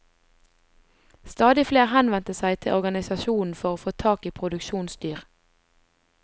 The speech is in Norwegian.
Stadig flere henvendte seg til organisasjonen for å få tak i produksjonsdyr.